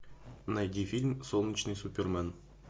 найди фильм солнечный супермен